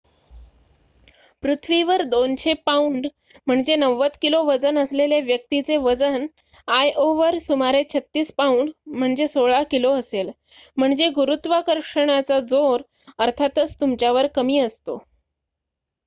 पृथ्वीवर २०० pound ९० kilo वजन असलेल्या व्यक्तीचे वजन आयओवर सुमारे ३६ पाउंड १६ किलो असेल. म्हणजे गुरुत्वाकर्षणाचा जोर अर्थातच तुमच्यावर कमी असतो